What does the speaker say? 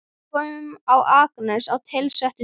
Við komum á Akranes á tilsettum tíma.